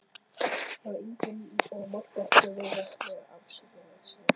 Ég var yngri og mátti ekki vera með afskiptasemi.